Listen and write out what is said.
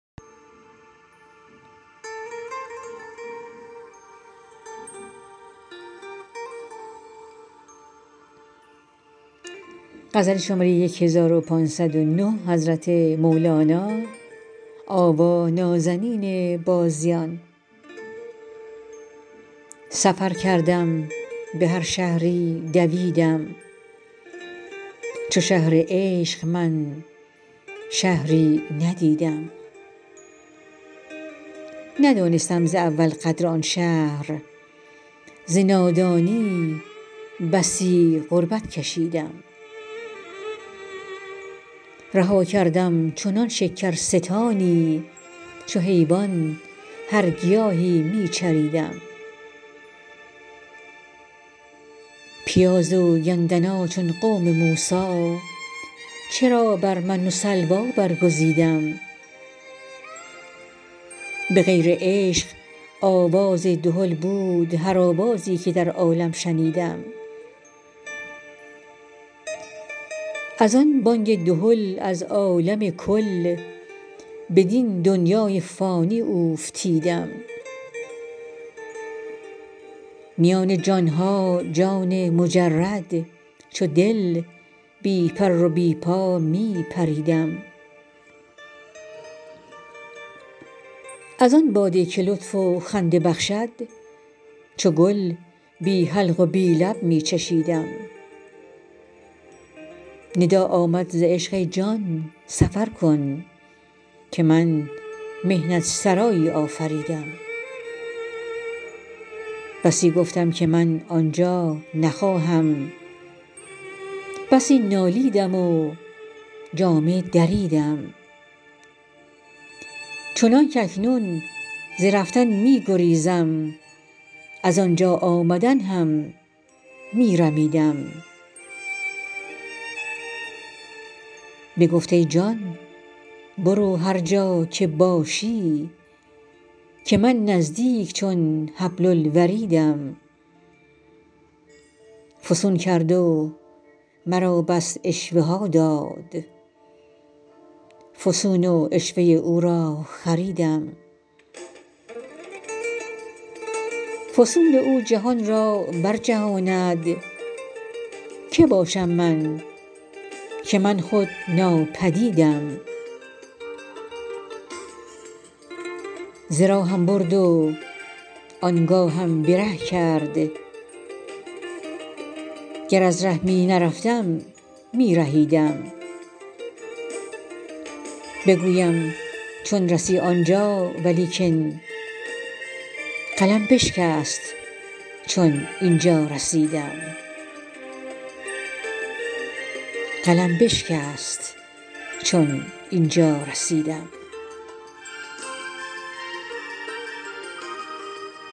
سفر کردم به هر شهری دویدم چو شهر عشق من شهری ندیدم ندانستم ز اول قدر آن شهر ز نادانی بسی غربت کشیدم رها کردم چنان شکرستانی چو حیوان هر گیاهی می چریدم پیاز و گندنا چون قوم موسی چرا بر من و سلوی برگزیدم به غیر عشق آواز دهل بود هر آوازی که در عالم شنیدم از آن بانگ دهل از عالم کل بدین دنیای فانی اوفتیدم میان جان ها جان مجرد چو دل بی پر و بی پا می پریدم از آن باده که لطف و خنده بخشد چو گل بی حلق و بی لب می چشیدم ندا آمد ز عشق ای جان سفر کن که من محنت سرایی آفریدم بسی گفتم که من آن جا نخواهم بسی نالیدم و جامه دریدم چنانک اکنون ز رفتن می گریزم از آن جا آمدن هم می رمیدم بگفت ای جان برو هر جا که باشی که من نزدیک چون حبل الوریدم فسون کرد و مرا بس عشوه ها داد فسون و عشوه او را خریدم فسون او جهان را برجهاند کی باشم من که من خود ناپدیدم ز راهم برد وان گاهم به ره کرد گر از ره می نرفتم می رهیدم بگویم چون رسی آن جا ولیکن قلم بشکست چون این جا رسیدم